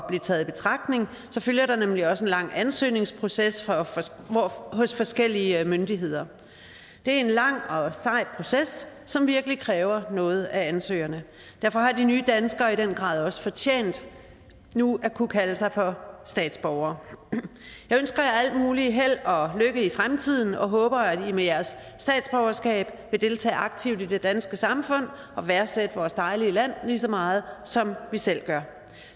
blive taget i betragtning så følger der nemlig også en lang ansøgningsproces hos forskellige myndigheder det er en lang og sej proces som virkelig kræver noget af ansøgerne derfor har de nye danskere i den grad også fortjent nu at kunne kalde sig for statsborgere jeg ønsker jer al mulig held og lykke i fremtiden og håber at i med jeres statsborgerskab vil deltage aktivt i det danske samfund og værdsætte vores dejlige land lige så meget som vi selv gør